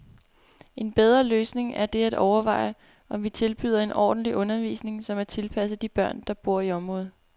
En bedre løsning er det at overveje, om vi tilbyder en ordentlig undervisning, som er tilpasset de børn, der bor i området.